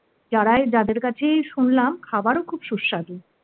যাদের কাছেই শুনলাম খাবারও খুব সুস্বাদু,